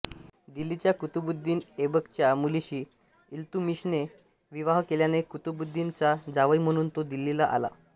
दिल्लीच्या कुतुबुद्दीन ऐबकच्या मुलीशी इल्तुमिशने विवाह केल्याने कुतुबुद्दीनचा जावई म्हणून तो दिल्लीला आला